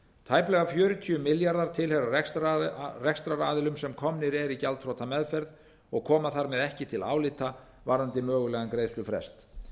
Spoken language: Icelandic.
tæplega fjörutíu milljarðar króna tilheyra rekstraraðilum sem eru komnir í gjaldþrotameðferð og koma þar með ekki til álita varðandi mögulegan greiðslufrest